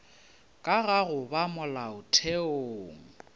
ka ga go ba molaotheong